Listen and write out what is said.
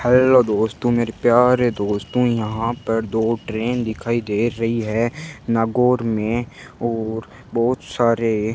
hello दोस्तों मेरे प्यारे दोस्तों यहां पर दो ट्रेन दिखाई दे रही है नागौर में और बहुत सारे --